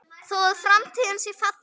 Þó að framtíð sé falin